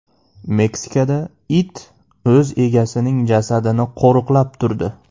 Meksikada it o‘z egasining jasadini qo‘riqlab turdi .